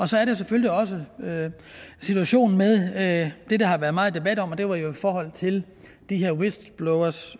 så er der selvfølgelig også situationen med det der har været meget debat om og det er jo i forhold til de her whistleblowers